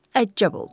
Əccəb oldu.